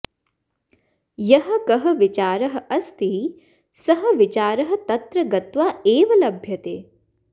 यः कः विचारः अस्ति सः विचारः तत्र गत्वा एव लभ्यते